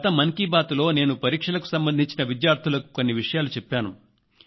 గత మన్ కీ బాత్ లో నేను పరీక్షలకు సంబంధించి విద్యార్థులకు కొన్ని విషయాలు చెప్పాను